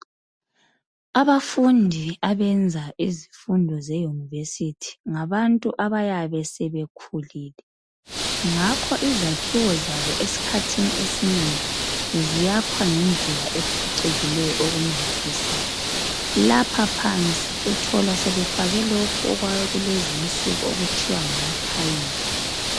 Abafundi abenza izifundo zeyunivesithi, ngabantu abayabe sebekhulile ngakho izakhiwo zabo esikhathini esinengi, ziyakhwa ngendlela ephucukileyo okumangalisayo. Lapha phansi uthola befake lokhu okwakulezi insuku okuthiwa ngama thayili.